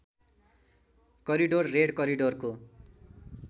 corridor red करिडोरको